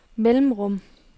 mellemrum